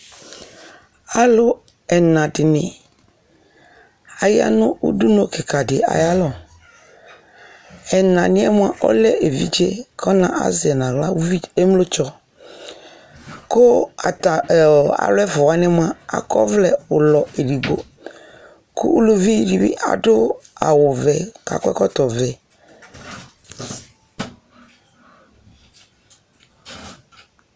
alo ɛna di ni aya no udunu keka di ayo alɔ ɛna niɛ moa ɔlɛ evidze ko ɔna azɛ yi no ala ko ata alo ɛfua wani moa akɔ ɛvlɛ ulɔ edigbo ko uluvi di bi ado awu vɛ ko akɔ ɛkɔtɔ vɛ